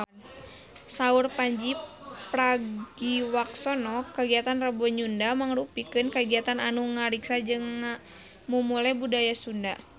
Saur Pandji Pragiwaksono kagiatan Rebo Nyunda mangrupikeun kagiatan anu ngariksa jeung ngamumule budaya Sunda